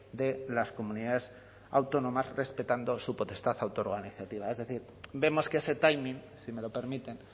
de las comunidades autónomas respetando su potestad autoorganizativa es decir vemos que ese timing si me lo permiten